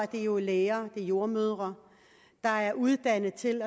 det jo er læger det er jordemødre der er uddannet til